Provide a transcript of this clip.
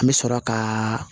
An bɛ sɔrɔ ka